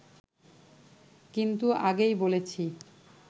কিন্তু আগেই বলেছি